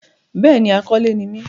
bẹ́ẹ̀ni, akọ́lé ni mí.